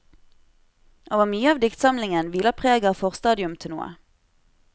Over mye av diktsamlingen hviler preget av forstadium til noe.